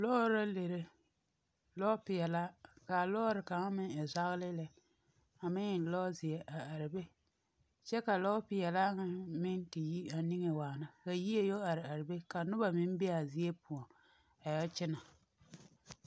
Lɔɔr la lere, lɔɔpeɛlaa kaa lɔɔre kaŋ meŋ e zagelee lɛ a meŋ e lɔ zeɛ, kyɛ ka lɔɔpeɛlaa ŋa meŋ a te yi a niŋe waana ka yie yɔ are are be ka noba meŋ be a zie poɔŋ a yɛ kyɛnɛ.